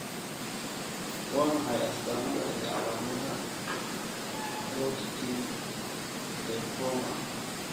Waa maxay astaamaha iyo calaamadaha Hodgkin lymphoma?